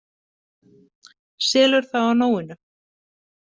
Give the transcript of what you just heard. Selur það á nóinu!